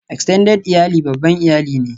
Extended iyali babban iyali ne